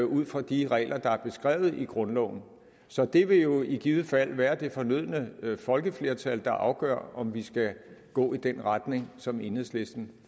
ud fra de regler der er beskrevet i grundloven så det vil jo i givet fald være det fornødne folkeflertal der afgør om vi skal gå i den retning som enhedslisten